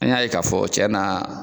An y'a ye k'a fɔ cɛn na